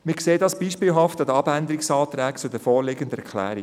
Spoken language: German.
Wir sehen dies beispielhaft an den Abänderungsanträgen zur vorliegenden Erklärung.